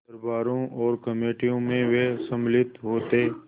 दरबारों और कमेटियों में वे सम्मिलित होते